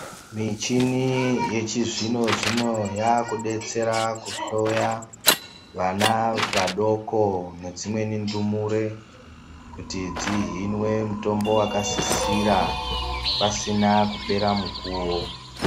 Michini yechizvino-zvino yakubetsera kuhloya vana vadoko nedzimweni ndumure. Kuti dzihinwe mutombo vakasisira pasina kupera mukuvo.